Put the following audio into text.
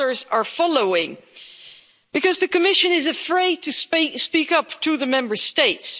Others are following because the Commission is afraid to speak up to the Member States.